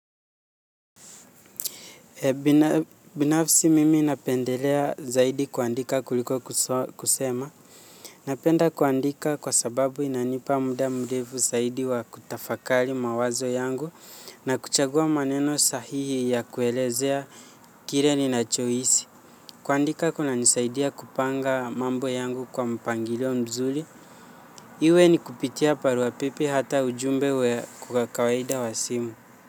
Binafsi mimi napendelea zaidi kuandika kuliko kusema. Napenda kuandika kwa sababu inanipa muda nrefu zaidi wa kutafakari mawazo yangu na kuchagua maneno sahihi ya kuelezea kile ninachohisi. Kuandika kunanisaidia kupanga mambo yangu kwa mpangilio mzuri. Iwe ni kupitia barua pepe hata ujumbe wa kawaida wa simu.